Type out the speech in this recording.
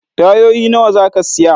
Tayoyi nawa za ka siya?